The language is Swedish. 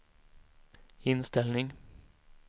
inställning